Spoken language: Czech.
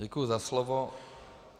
Děkuji za slovo.